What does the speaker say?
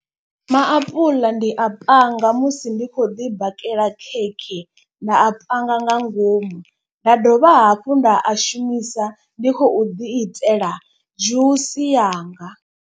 Maapuḽa ndi a panga musi ndi kho ḓi bakela khekhe. Nda a panga nga ngomu nda dovha hafhu nda a shumisa ndi khou ḓi itela dzhusi yanga.